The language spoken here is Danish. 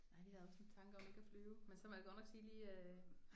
Nej vi havde også en tanke om ikke at flyve men så må jeg godt nok sige lige